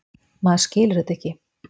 Maður skilur þetta ekki.